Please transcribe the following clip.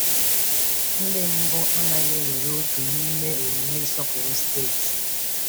Ndị mbụ anaghị ewere òtù n’ime omume nsọpụrụ steeti.